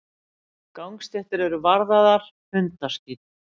Gangstéttir eru varðaðar hundaskít.